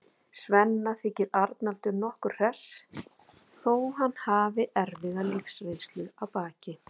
Svenna þykir Arnaldur nokkuð hress þó að hann hafi erfiða lífsreynslu að baki.